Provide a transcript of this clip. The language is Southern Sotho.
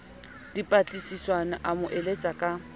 dipatlisisomme a mo eletse ka